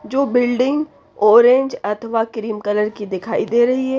जो building orange अथवा cream colour की दिखाई दे रही है।